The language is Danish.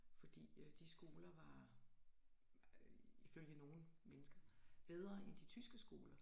Fordi øh de skoler var ifølge nogle mennesker bedre end de tyske skoler